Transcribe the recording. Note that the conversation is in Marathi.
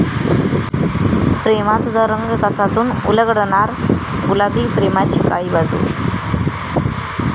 प्रेमा तुझा रंग कसा'तून उलगडणार गुलाबी प्रेमाची काळी बाजू